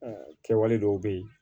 kɛwale dɔw bɛ yen